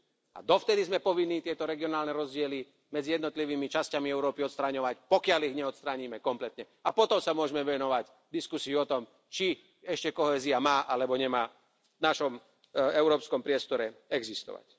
A dovtedy sme povinní tieto regionálne rozdiely medzi jednotlivými časťami Európy odstraňovať, pokiaľ ich neodstránime kompletne, a potom sa môžeme venovať diskusii o tom, či ešte kohézia má alebo nemá v našom európskom priestore existovať.